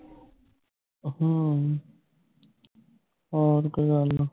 ਹਮ ਹੋਰ ਕੋਈ ਗੱਲ